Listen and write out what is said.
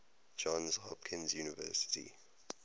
johns hopkins university